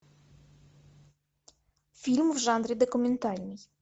фильм в жанре документальный